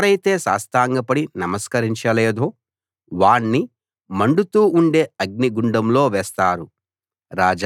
ఎవరైతే సాష్టాంగపడి నమస్కరించలేదో వాణ్ణి మండుతూ ఉండే అగ్నిగుండంలో వేస్తారు